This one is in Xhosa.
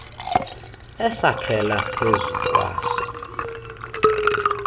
esakhela phezu kwaso